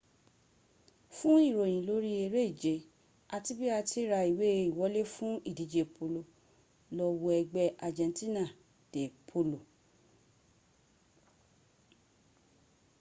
fún ìròyìn lórí eré ìje àti bi à ti ra ìwé ìwọlé fún ìdíje polo lọ wo ẹgbẹ́ argentina de polo